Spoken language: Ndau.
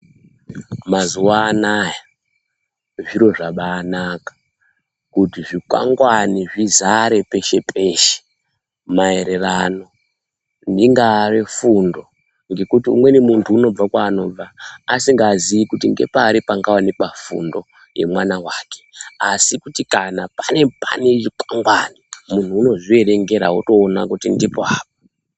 Mazuwa anaya zviro zvabaanaka, kuti zvikwangwani zvizare peshe peshe maererano ingaari fundo ngekuti umweni mundu unobva kwaanobva usingaziyi kuti ngepari pangaonekwa fundo yemwana wake, asi kuti kana pane pane zvikongwari unozvierengera otoona kuti ndipo apa ega.